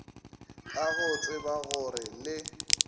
ka go tseba gore le